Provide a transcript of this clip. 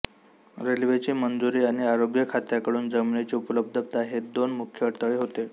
रेल्वेची मंजुरी आणि आरोग्य खात्याकडून जमिनीची उपलब्धता हे दोन मुख्य अडथळे होते